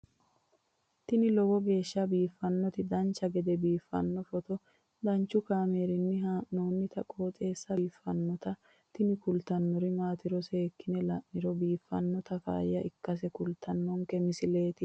tini lowo geeshsha biiffannoti dancha gede biiffanno footo danchu kaameerinni haa'noonniti qooxeessa biiffannoti tini kultannori maatiro seekkine la'niro biiffannota faayya ikkase kultannoke misileeti yaate